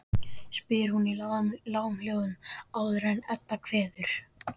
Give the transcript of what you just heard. spyr hún í lágum hljóðum rétt áður en Edda kveður.